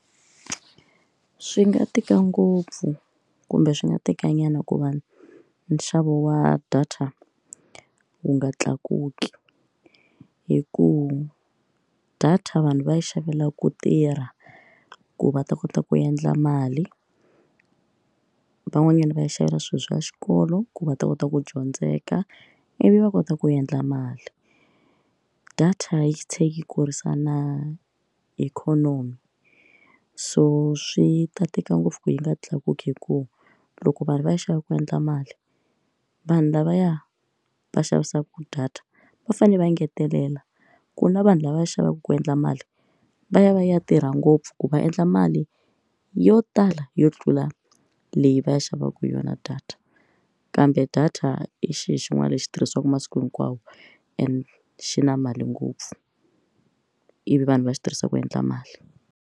Swi nga tika ngopfu kumbe swi nga teka nyana ku va nxavo wa data wu nga tlakuki hi ku data vanhu va xavela ku tirha ku va ta kota ku endla mali van'wanyana va xavela swilo swa xikolo ku va ta kota ku dyondzeka ivi va kota ku endla mali data yi tlh kurisa na ikhonomi so swi ta tika ngopfu ku yi nga tlakuki hikuva loko vanhu va ya xava ku endla mali vanhu lavaya va xavisaka data va fanele va engetelela ku na vanhu lava va xavaku ku endla mali va ya va ya tirha ngopfu ku va endla mali yo tala yo tlula leyi va yi xavaka yona data kambe data i xilo xin'wana lexi xi tirhisiwaka masiku hinkwawo and xi na mali ngopfu ivi vanhu va xi tirhisaka ku endla mali.